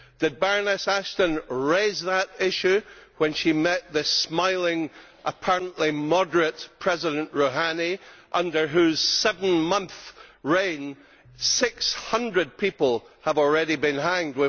Did Baroness Ashton raise that issue when she met the smiling, apparently moderate President Rouhani under whose seven month reign 600 people have already been hanged?